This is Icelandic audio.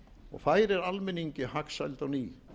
og færir almenningi hagsæld á ný